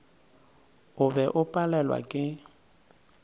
o be o palelwa ke